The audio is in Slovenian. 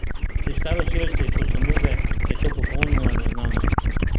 Pri staroselcih, kot so Nube, je to popolnoma neznano.